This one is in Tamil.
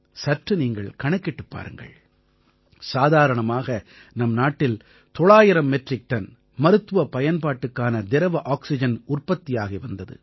சற்று நீங்கள் கணக்கிட்டுப் பாருங்கள் சாதாரணமாக நம் நாட்டில் 900 மெட்ரிக் டன் மருத்துவப் பயன்பாட்டுக்கான திரவ ஆக்சிஜன் உற்பத்தியாகி வந்தது